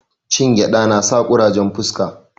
Cin gyada nasa kurajen fuska